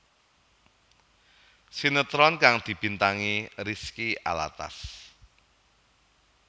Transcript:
Sinetron kang dibintangi Rizky Alatas